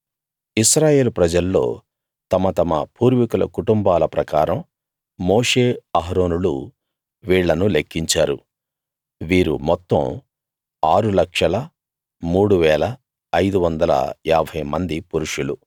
ఇశ్రాయేలు ప్రజల్లో తమ తమ పూర్వీకుల కుటుంబాల ప్రకారం మోషే అహరోనులు వీళ్ళను లెక్కించారు వీరు మొత్తం 603550 మంది పురుషులు